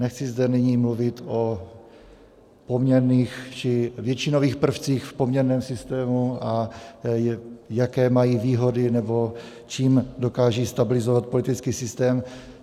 Nechci zde nyní mluvit o poměrných či většinových prvcích v poměrném systému a jaké mají výhody nebo čím dokážou stabilizovat politický systém.